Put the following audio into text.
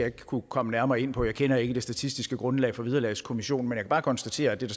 ikke kunne komme nærmere ind på det jeg kender ikke det statistiske grundlag for vederlagskommissionens kan bare konstatere at det